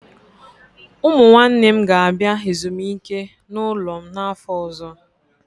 Ụmụ nwanne m ga-abịa ezumike n'ụlọ m n'afọ ọzọ.